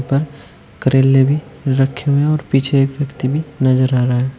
पर करेले भी रखे हुए और पीछे एक व्यक्ति भी नजर आ रहा है।